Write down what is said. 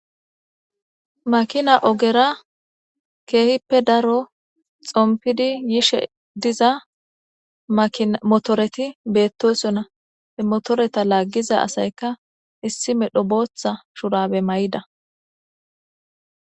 makina ogera keehippe daro xompidi yishe diza motoreti beettosona motoreta laaggiza asayka issi medho booththa shurabe may7ida